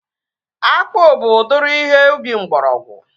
Akpụ bụ udiri ihe ubi mgbọrọgwụ